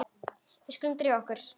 Við skulum drífa okkur.